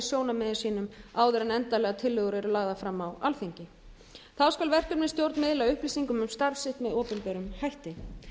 sjónarmiðum sínum áður en endanlegar tillögur eru lagðar fram á alþingi þá skal verkefnisstjórn miðla upplýsingum um starf sitt með opinberum hætti